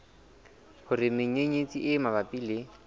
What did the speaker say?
hore menyenyetsi e mabapi le